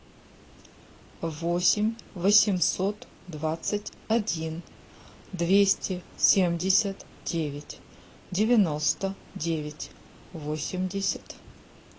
восемь восемьсот двадцать один двести семьдесят девять девяносто девять восемьдесят